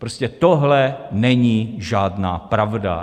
Prostě tohle není žádná pravda.